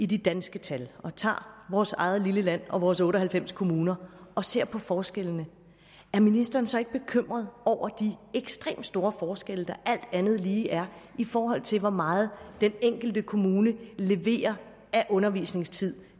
de danske tal og vi tager vores eget lille land og vores otte og halvfems kommuner og ser på forskellene er ministeren så ikke bekymret over de ekstremt store forskelle der alt andet lige er i forhold til hvor meget den enkelte kommune leverer af undervisningstid